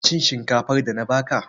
Ci shinkafar da na ba ka!